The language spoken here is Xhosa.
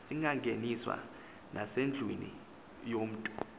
singangeniswa nasendlwini yomntu